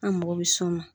An mago bɛ s'o ma